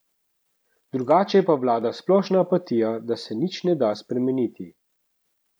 Drugače pa vlada splošna apatija, da se nič ne da spremeniti.